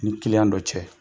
Ni dɔ cɛ,